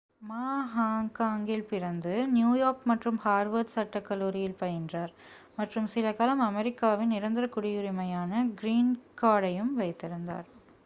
"மா ஹாங்காங்கில் பிறந்து நியூயார்க் மற்றும் ஹார்வர்ட் சட்டக் கல்லூரியில் பயின்றார் மற்றும் சிலகாலம் அமெரிக்காவின் நிரந்தரக் குடியுரிமையான "கிரீன் கார்ட்" ஐயும் வைத்திருந்தார்.